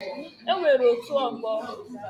E nwere otu ọgbọ.